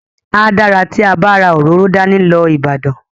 A dára tí a bá ra òróró dání lọ Ìbàdàn.